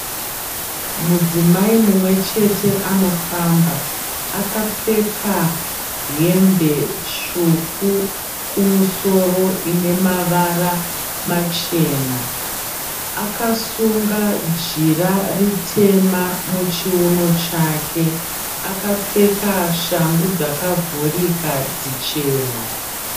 Mudzimai mumwechete anofamba. Akapfeka hembe tsvuku kumusoro ine mavara machena. Akasunga jira ritema muchiuno chake, akapfeka shangu dzakavhurika dzichena.